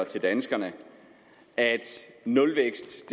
til danskerne at nulvækst